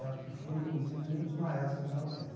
E fui, inclusive, um dos maestros da orquestra.